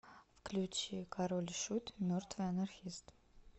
включи король и шут мертвый анархист